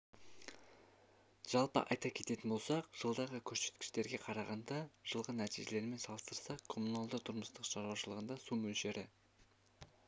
жалпы айта кететін болсақ жылдағы көрсеткіштерге қарағанда жылғы нәтижелермен салыстырсақ коммуналды-тұрмыстық шаруашылығында су мөлшері